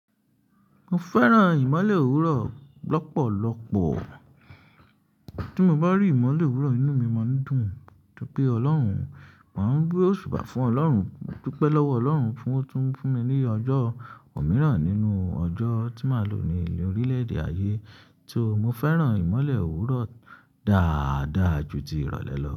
Mo fẹ́ràn ìmọ́lẹ̀ òwúrọ̀ lọ́pọ̀lọ́pọ̀. Tí mo bá rí ìmọ́lẹ̀ òwúrọ̀, inú mi máa ń dùn. Modupé Ọlọ́run, màá ń gbé òṣùba fún Ọlọ́run, modupe lọ́wọ Ọlọ́run fún ó tún fún mi ní ọjọ́ òmíràn nínú ọjọ́ tí màá lò ní ìlú orílẹ̀-èdè ayé. Só mo fẹ́ràn ìmọ́lẹ̀ òwúrọ̀ dáadáa ju ti ìrọ̀lẹ́ lọ.